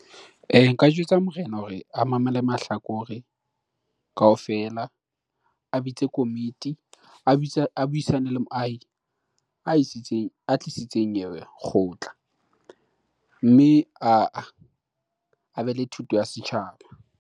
Nka jwetsa morena hore a mamele mahlakore kaofela, a bitse komiti a buisane le moahi a isitseng, a tlisitseng eo kgotla mme a a be le thuto ya setjhaba.